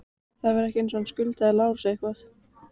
Það var ekki eins og hann skuldaði Lárusi eitthvað.